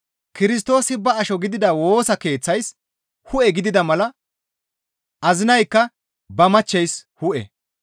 Kirstoosi ba asho gidida Woosa Keeththays hu7e gidida mala azinaykka ba machcheys hu7e.